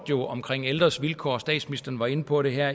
omkring ældres vilkår statsministeren var inde på det her